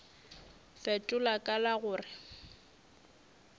fetola ka la go re